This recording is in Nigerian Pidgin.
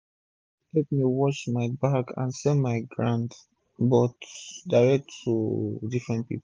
three women dey epp me wash bag and sell my ground but direct to different pipu